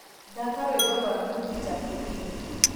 thaaka rwĩmbo rwa nikita kering